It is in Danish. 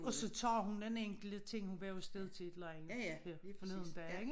Og så tager hun den enkelte ting hun var jo afsted til et eller andet forleden dag ikke